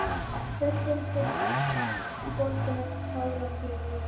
Röddin þykk og bólgin eftir táraflóðið.